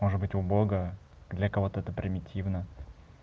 может быть у бога для кого-то это примитивно